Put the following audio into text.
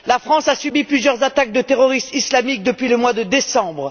La France a subi plusieurs attaques de terroristes islamiques depuis le mois de décembre.